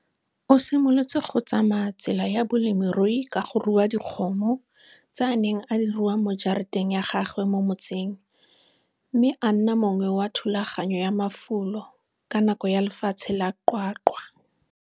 O simolotse go tsamaya tsela ya bolemirui ka go rua dikgomo, tse a neng a di rua mo jarateng ya gagwe mo motseng, mme a nna mongwe wa thulaganyo ya mafulo ka nako ya lefatshe la QwaQwa.